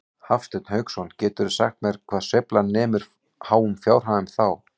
Hafsteinn Hauksson: Geturðu sagt mér hvað sveiflan nemur háum fjárhæðum þá?